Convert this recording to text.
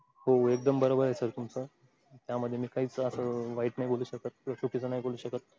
हो एकदम बरोबर आहे sir तुमचं त्यामध्ये मी काहीच असं वाईट नाही बोलू शकत किंव्हा चुकीचं नाही बोलू शकत.